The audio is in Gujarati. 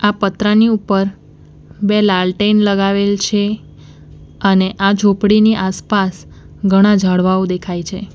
આ પત્રની ઉપર બે લાલટેન લગાવેલ છે અને આ ઝોપડીની આસપાસ ઘણા ઝાડવાઓ દેખાય છે.